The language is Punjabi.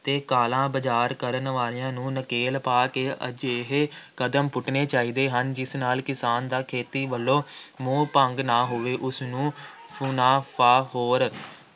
ਅਤੇ ਕਾਲਾ-ਬਾਜ਼ਾਰ ਕਰਨ ਵਾਲਿਆਂ ਨੂੰ ਨਕੇਲ ਪਾ ਕੇ ਅਜਿਹੇ ਕਦਮ ਪੁੱਟਣੇ ਚਾਹੀਦੇ ਹਨ ਜਿਸ ਨਾਲ ਕਿਸਾਨ ਦਾ ਖੇਤੀ ਵੱਲੋਂ ਮੋਹ ਭੰਗ ਨਾ ਹੋਵੇ, ਉਸਨੂੰ ਮੁਨਾਫਾਖੋਰ